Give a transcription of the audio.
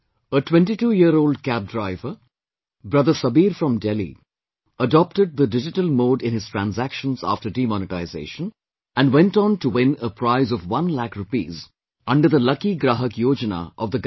A 22year old cab driver brother Sabir from Delhi adopted the digital mode in his transactions after demonetisation and went on to win a prize of one lakh rupees under the 'Lucky Grahak Yojana' of the Government